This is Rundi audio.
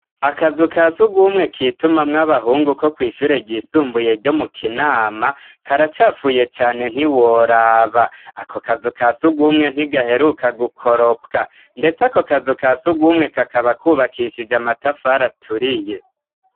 Akazu ka si ugwumwe kitumamwoabahungu ko kwishure ryisumbuye ryo mu kinama karacafuye cane ntiworaba ako kazu ka si ugumwe ntigaheruka gukoropwa, ndetse ako kazu ka si ugumwe kakaba kwubakishije amatafaraturiye.